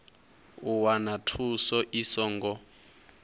u wana thuso i songo